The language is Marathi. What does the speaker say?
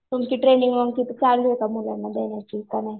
तुमची ट्रेनिंग मग चालू आहे का ची का नाही.